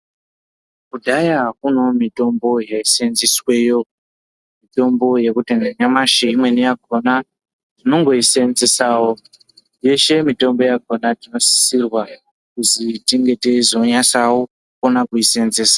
Kudhaya kunewo mitombo yaiseenzesweyo, mitombo yekuti nanyamashi imweni yakona tinongoiseenzesawo. Yeshe mitombo yakona tinosisirwa kuzi tinge teizonyasawo kukona kuiseenzesa.